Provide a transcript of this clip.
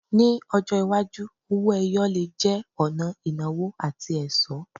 Ní ọjọ́ iwájú, owó-ẹyọ le jẹ́ ọ̀nà ìnáwó àti ẹ̀ṣọ́.